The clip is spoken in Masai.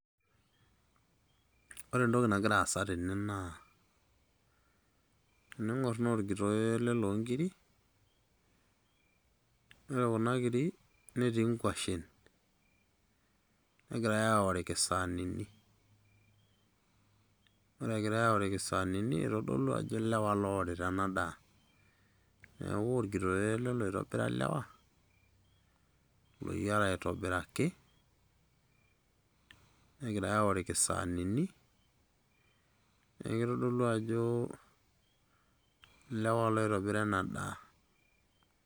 Ore entoki nagira aasa tene naa, tening'or naa orkitoyoo ele lonkiri. Ore kuna kiri, netii nkwashen. Negirai aoriki saanini. Ore egirai aoriki saanini, itodolu ajo lewa loworita enadaa. Neeku orkitoyoo ele loitobira lewa, loyiara aitobiraki, negirai aoriki saanini, neku kitodolu ajo lewa loitobira enadaa.